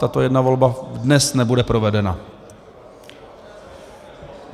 Tato jedna volba dnes nebude provedena.